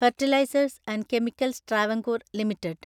fertilisers and chemicals Travancore limited